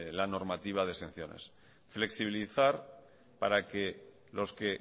la normativa de exenciones flexibilizar para que